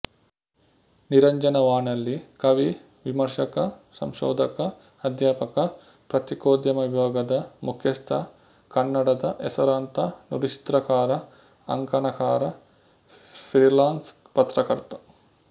ನಿರಂಜನ ವಾನಳ್ಳಿ ಕವಿ ವಿಮರ್ಶಕ ಸಂಶೋಧಕ ಅಧ್ಯಾಪಕ ಪತ್ರಿಕೋದ್ಯಮ ವಿಭಾಗದ ಮುಖ್ಯಸ್ಥ ಕನ್ನಡದ ಹೆಸರಾಂತ ನುಡಿಚಿತ್ರಕಾರ ಅಂಕಣಕಾರ ಫ್ರೀಲಾನ್ಸ್ ಪತ್ರಕರ್ತ